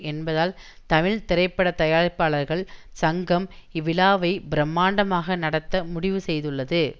என்பதால் தமிழ் திரைப்பட தயாரிப்பாளர்கள் சங்கம் இவ்விழாவை பிரமாண்டமாக நடத்த முடிவு செய்துள்ளது